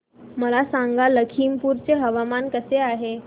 मला सांगा लखीमपुर चे हवामान कसे आहे